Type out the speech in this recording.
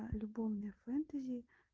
а любовное фэнтези